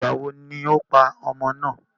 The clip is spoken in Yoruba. Ìgbà wo ni o pa ọmọ ná?